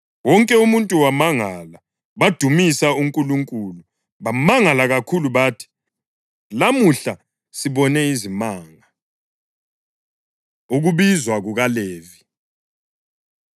Wonke umuntu wamangala, badumisa uNkulunkulu. Bamangala kakhulu bathi, “Lamuhla sibone izimanga.” Ukubizwa KukaLevi